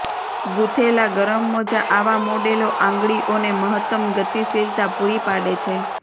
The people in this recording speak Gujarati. ગૂંથેલા ગરમ મોજા આવા મોડેલો આંગળીઓને મહત્તમ ગતિશીલતા પૂરી પાડે છે